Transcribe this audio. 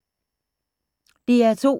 DR2